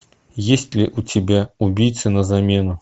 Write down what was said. есть ли у тебя убийца на замену